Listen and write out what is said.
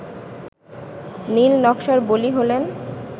নীল-নকশার বলি হলেন